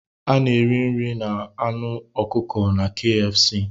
A na-eri nri na anụ ọkụkọ na KFC